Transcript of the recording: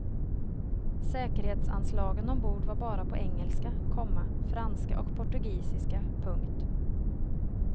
Säkerhetsanslagen ombord var bara på engelska, komma franska och portugisiska. punkt